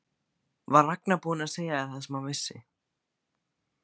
Var Ragnar búinn að segja þér það sem hann vissi?